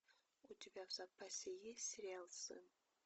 у тебя в запасе есть сериал сын